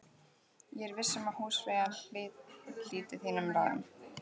Ég er viss um að húsfreyjan hlítir þínum ráðum